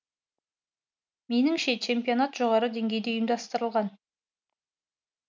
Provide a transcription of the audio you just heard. меніңше чемпионат жоғары деңгейде ұйымдастырылған